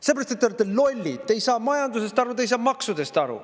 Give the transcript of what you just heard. Sellepärast et te olete lollid, te ei saa majandusest aru, te ei saa maksudest aru.